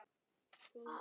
Hann leit til baka.